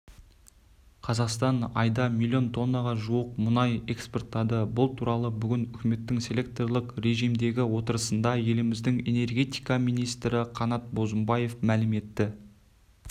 қазақстан айда миллион тоннаға жуық мұнай экспорттады бұл туралы бүгін үкіметтің селекторлық режимдегі отырысында еліміздің энергетика министрі қанат бозымбаев мәлім етті